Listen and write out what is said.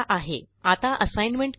आता असाइनमेंट करू या